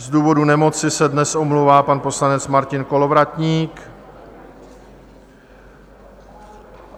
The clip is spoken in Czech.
Z důvodu nemoci se dnes omlouvá pan poslanec Martin Kolovratník.